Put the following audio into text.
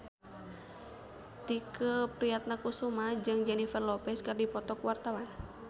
Tike Priatnakusuma jeung Jennifer Lopez keur dipoto ku wartawan